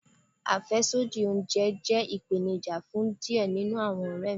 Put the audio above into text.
Afẹsodi ounjẹ jẹ ipenija fun diẹ ninu awọn ọrẹ mi